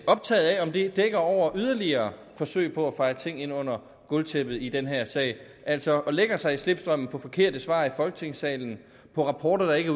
optaget af om det dækker over yderligere forsøg på at feje ting ind under gulvtæppet i den her sag og altså lægger sig i slipstrømmen på forkerte svar i folketingssalen på rapporter der ikke